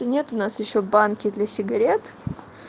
нет у нас ещё банки для сигарет